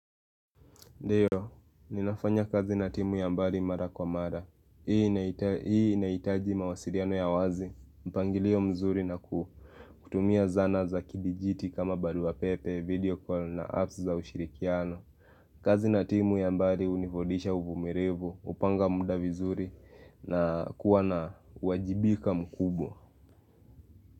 Ndiyo, ninafanya kazi na timu ya mbari mara kwa mara. Hii inaitaji mawasiriano ya wazi, mpangilio mzuri na kutumia zana za kidijiti kama baluwa pepe, video call na apps za ushirikiano. Kazi na timu ya mbari univudisha uvumirivu, upanga muda vizuri na kuwa na uwajibika mkubwa.